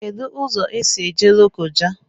Kedu ụzọ esi eje Lokoja?